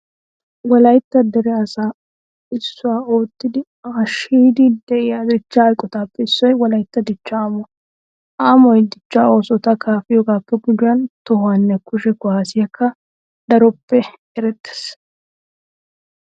Wolaytta dere asaa isso oottidi hasheyiiddi de'iya dichchaa eqotatuppe issoy wolaytta dichchaa amuwa. Ha amoy dichchaa oosota kaafiyogaappe gujuwan tohonne kushe kuwaasiyankka dropped erettees.